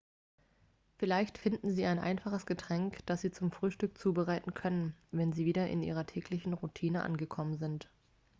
vielleicht finden sie ein einfaches getränk dass sie zum frühstück zubereiten können wenn sie wieder in ihrer täglichen routine angekommen sind